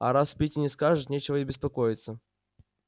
а раз питти не скажет нечего и беспокоиться